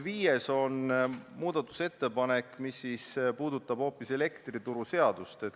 Viies muudatusettepanek puudutab elektrituruseadust.